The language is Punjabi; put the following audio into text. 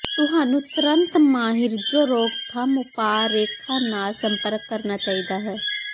ਤੁਹਾਨੂੰ ਤੁਰੰਤ ਮਾਹਿਰ ਜੋ ਰੋਕਥਾਮ ਉਪਾਅ ਰੇਖਾ ਨਾਲ ਸੰਪਰਕ ਕਰਨਾ ਚਾਹੀਦਾ ਹੈ